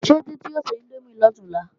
Ṣé Títí o se índómì lọ̀túnla?